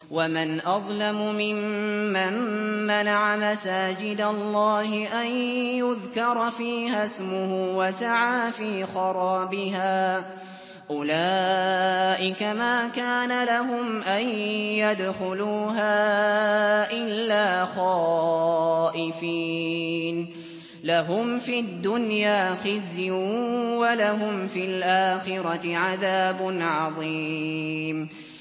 وَمَنْ أَظْلَمُ مِمَّن مَّنَعَ مَسَاجِدَ اللَّهِ أَن يُذْكَرَ فِيهَا اسْمُهُ وَسَعَىٰ فِي خَرَابِهَا ۚ أُولَٰئِكَ مَا كَانَ لَهُمْ أَن يَدْخُلُوهَا إِلَّا خَائِفِينَ ۚ لَهُمْ فِي الدُّنْيَا خِزْيٌ وَلَهُمْ فِي الْآخِرَةِ عَذَابٌ عَظِيمٌ